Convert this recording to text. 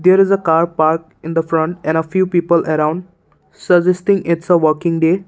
there is a car park in the front and a few people around suggesting it is working day.